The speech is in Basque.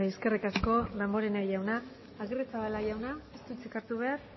eskerrik asko damborenea jauna agirrezabala jauna ez du hitzik hartu behar